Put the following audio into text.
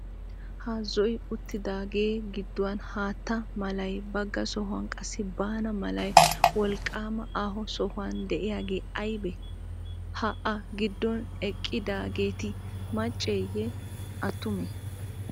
Ha zo"i uttidaagee gidduwan haatta malay bagga sohuwan qassi baana malay wolqqaama aaho sohuwan de'iyagee aybee? Ha A giddon eqqidaageeti macceeyye? Attumee?